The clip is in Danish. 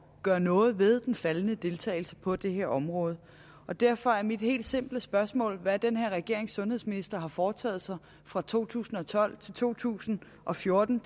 gøre noget ved den faldende deltagelse på det her område og derfor er mit helt simple spørgsmål hvad den her regerings sundhedsminister har foretaget sig fra to tusind og tolv til to tusind og fjorten